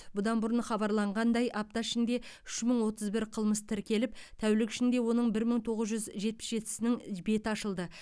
бұдан бұрын хабарланғандай апта ішінде үш мың отыз бір қылмыс тіркеліп тәулік ішінде оның бір мың тоғыз жүз жетпіс жетісінің беті ашылды